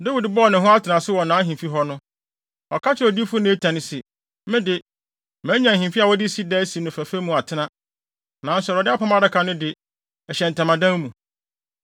Dawid bɔɔ ne ho atenase wɔ nʼahemfi hɔ no, ɔka kyerɛɛ odiyifo Natan se, “Me de, manya ahemfi a wɔde sida asi no fɛfɛ mu atena, nanso Awurade Apam Adaka no de, ɛhyɛ ntamadan mu.”